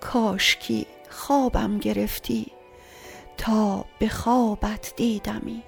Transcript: کاشکی خوابم گرفتی تا به خوابت دیدمی